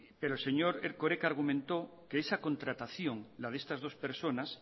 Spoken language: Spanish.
pero el señor erkoreka argumentó que esa contratación la de estas dos personas